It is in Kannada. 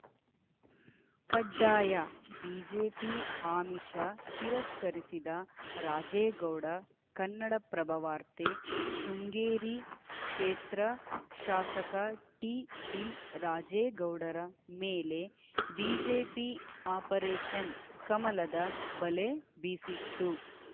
ಕಡ್ಡಾಯ ಬಿಜೆಪಿ ಆಮಿಷ ತಿರಸ್ಕರಿಸಿದ ರಾಜೇಗೌಡ ಕನ್ನಡಪ್ರಭವಾರ್ತೆ ಶೃಂಗೇರಿ ಕ್ಷೇತ್ರ ಶಾಸಕ ಟಿಡಿ ರಾಜೇಗೌಡರ ಮೇಲೆ ಬಿಜೆಪಿ ಆಪರೇಷನ್‌ ಕಮಲದ ಬಲೆ ಬೀಸಿತ್ತು